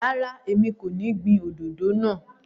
Ràrá, èmi kọ́ ní gbìn àwon òdòdó náà.